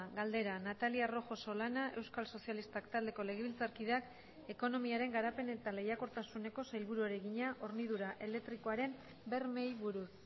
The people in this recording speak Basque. galdera natalia rojo solana euskal sozialistak taldeko legebiltzarkideak ekonomiaren garapen eta lehiakortasuneko sailburuari egina hornidura elektrikoaren bermeei buruz